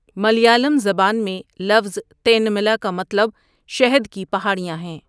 ملیالم زبان میں لفظ 'تینملا' کا مطلب 'شہد کی پہاڑیاں'ہے۔